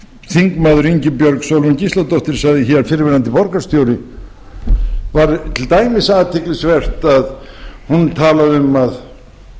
þingmaður ingibjörg sólrún gísladóttir sagði hér fyrrverandi borgarstjóri var til dæmis athyglisvert að hún talaði um að